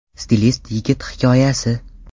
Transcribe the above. Stilist yigit hikoyasi.